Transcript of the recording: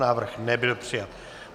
Návrh nebyl přijat.